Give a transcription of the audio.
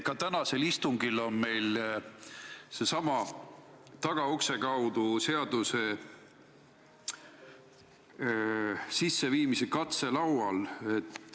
Ka tänasel istungil on meil seesama tagaukse kaudu seaduse kehtestamise katse laual.